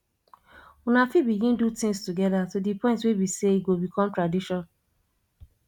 una fit begin do things together to di point wey be sey e go become tradition